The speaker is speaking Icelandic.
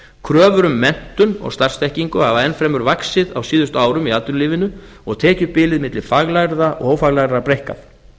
kröfur um menntun og starfsþekkingu hafa ennfremur vaxið á síðustu árum í atvinnulífinu og tekjubilið á milli faglærðra og ófaglærðra breikkað